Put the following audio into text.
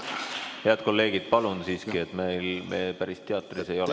Head kolleegid, palun siiski, me päris teatris ei ole ...